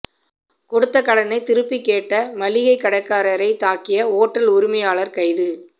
கொடுத்த கடனை திருப்பி கேட்ட மளிகை கடைக்காரரை தாக்கிய ஓட்டல் உரிமையாளர் கைது